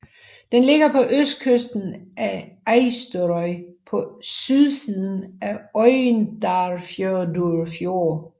Den ligger på østkysten af Eysturoy på sydsiden af Oyndarfjørður fjord